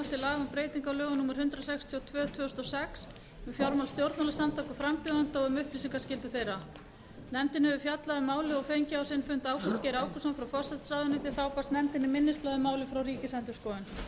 um breyting á lögum númer hundrað sextíu og tvö tvö þúsund og sex um fjármál stjórnmálasamtaka og frambjóðenda og um upplýsingaskyldu þeirra nefndin hefur fjallað um málið og fengið á sinn fund ásgeir ágústsson frá forsætisráðuneyti og frá ríkisendurskoðun